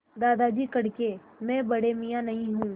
दादाजी कड़के मैं बड़े मियाँ नहीं हूँ